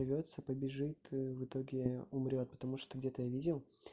рвётся побежит в итоге умрёт потому что где-то я видел